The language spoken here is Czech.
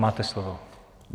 Máte slovo.